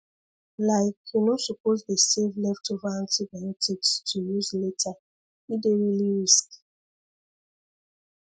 like you no suppose dey save left over antibiotics to use later e dey really risky